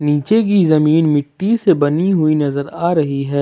नीचे की जमीन मिट्टी से बनी हुई नजर आ रही है।